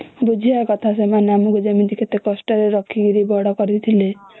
ବୁଝିବା କଥା ସେମାନେ କଷ୍ଟ ରେ ରଖିକି ବଡ କରିଥିଲେ